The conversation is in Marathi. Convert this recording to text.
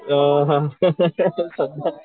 अ